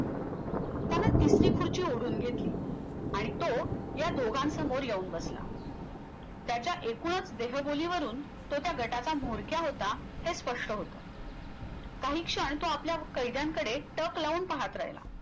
त्यानं तिसरी खुर्ची ओढून घेतली आणि तो या दोघांसमोर येऊन बसला त्याच्या एकूणच देहबोलीवरून तो त्या गटाचा मुरख्या होता हे स्पष्ट होत काही क्षण तो आपल्या कैद्यांकडे टक लावून पाहत राहिला